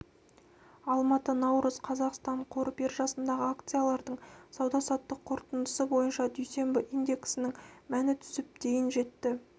алматы наурыз қазақстан қор биржасындағы акциялардың сауда-саттық қорытындысы бойынша дүйсенбі индексінің мәні түсіп дейін жетті